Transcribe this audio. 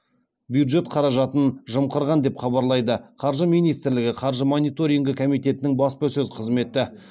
бюджет қаражатын жымқырған деп хабарлайды қаржы министрлігі қаржы мониторингі комитетінің баспасөз қызметі